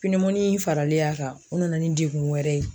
in faralen a kan o nana ni degun wɛrɛ ye.